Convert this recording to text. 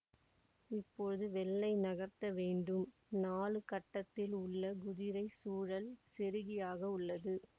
இப்பொழுது வெள்ளை நகர்த்த வேண்டும் நாழு கட்டத்தில் உள்ள குதிரை சூழல் செருகியாக உள்ளது